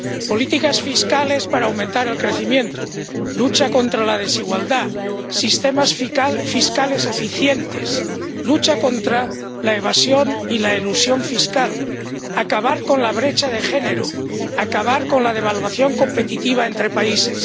políticas fiscales para aumentar el crecimiento, lucha contra la desigualdad, sistemas fiscales eficientes, lucha contra la evasión y la elusión fiscal, acabar con la brecha de género, acabar con la devaluación competitiva entre países.